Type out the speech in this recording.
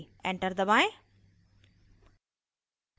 enter दबाएं